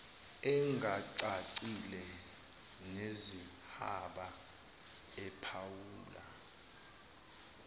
engacacile neyihaba ephawula